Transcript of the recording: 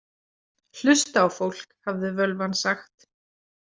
Hlusta á fólk, hafði völvan sagt.